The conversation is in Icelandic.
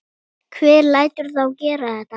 Hver lætur þá gera þetta?